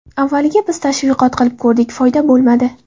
Avvaliga biz tashviqot qilib ko‘rdik, foyda bo‘lmadi.